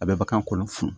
A bɛ bagan kolo funu